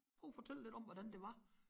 Prøv at fortælle lidt om hvordan det var